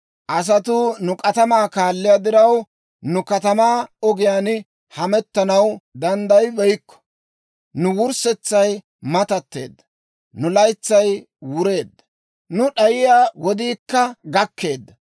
Asatuu nu k'atamaa kaalliyaa diraw, nu katamaa ogiyaan hemettanaw danddayibeykko. Nu wurssetsay matatteedda; nu laytsay wureedda; nu d'ayiyaa wodiikka gakkeedda.